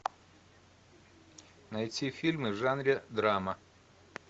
найти фильмы в жанре драма